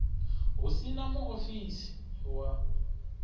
hu si na muofisi wa